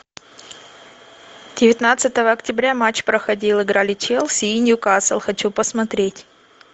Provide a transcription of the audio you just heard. девятнадцатого октября матч проходил играли челси и ньюкасл хочу посмотреть